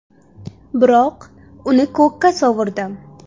Biroq uni ko‘kka sovurdim.